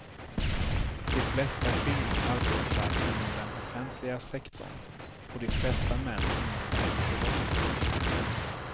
De flesta kvinnor arbetar inom den offentliga sektorn och de flesta män inom den privata.